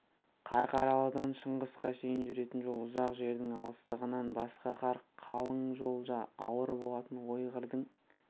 қарқаралыдан шыңғысқа шейін жүретін жол ұзақ жердің алыстығынан басқа қар қалың жол да ауыр болатын ой-қырдың